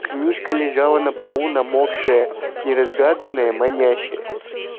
книжка лежала на полу намокшая неразгаданная манящая